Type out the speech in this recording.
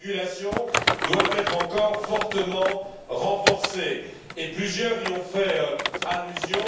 La régulation doit être encore fortement renforcée et plusieurs y ont fait allusion.